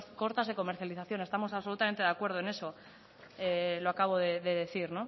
cortas de comercialización estamos absolutamente de acuerdo en eso lo acabo de decir